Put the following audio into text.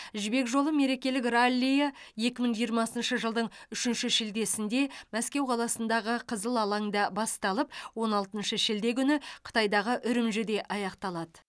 жібек жолы мерекелік раллиі екі мың жиырмасыншы жылдың үшінші шілдесінде мәскеу қаласындағы қызыл алаңда басталып он алтыншы шілде күні қытайдағы үрімжіде аяқталады